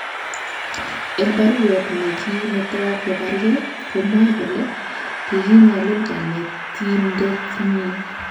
Eng baruet ne gi meto kobaregei, komwae kole kiinyalili kanetindetnyi